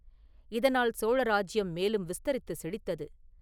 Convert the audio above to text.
இதனால் சோழ ராஜ்யம் மேலும் விஸ்தரித்து செழித்தது.